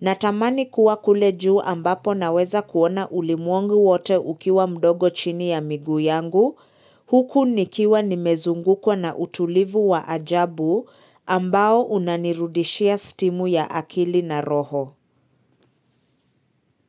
Natamani kuwa kule juu ambapo naweza kuona ulimwengu wote ukiwa mdogo chini ya miguu yangu, huku nikiwa nimezungukwa na utulivu wa ajabu ambao unanirudishia stimu ya akili na roho.